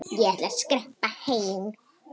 Ég ætla að skreppa heim.